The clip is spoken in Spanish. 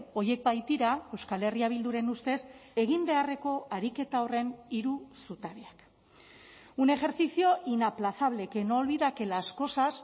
horiek baitira euskal herria bilduren ustez egin beharreko ariketa horren hiru zutabeak un ejercicio inaplazable que no olvida que las cosas